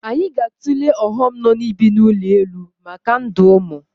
Anyị ga-atụle ọghọm nọ n'ibi n'ụlọ elu maka ndụ ụmụ